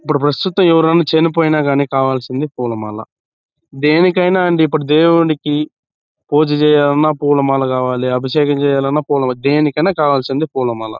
ఇప్పుడు ప్రస్తుతం ఎవరైనా చనిపోయిన కానీ కావాల్సింది పూలమాల. దేనికైనా అండి ఇప్పుడు దేవునికి పూజ చేయాలన్న పూలమాల కావాలి అభిషేకం చేయాలే అన్న పూలమాల దేనికైనా కావాల్సింది పూలమాల.